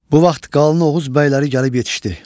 Bu vaxt qalın Oğuz bəyləri gəlib yetişdi.